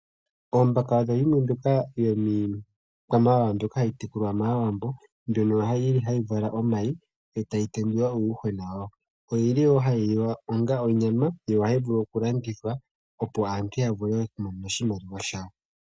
Oombaka odho dhimwe ndhoka dhiikwamawawa mbyoka hayi tekulwa momagumbo. Oyili hayi vala omayi, e tayi tendula. Oyili wo hayi liwa onga onyama, yo ohayi vulu okulandithwa, opo aantu yavule okumona oshimaliwa shawo.